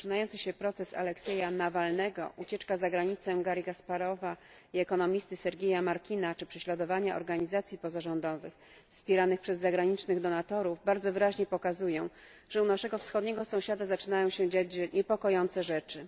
Rozpoczynający się proces Aleksieja Nawalnego, ucieczka za granicę Garri Kasparowa i ekonomisty Sergieja Martina czy prześladowanie organizacji pozarządowych wspieranych przez zagranicznych donatorów bardzo wyraźnie pokazuje, że u naszego wschodniego sąsiada zaczynają się dziać niepokojące rzeczy.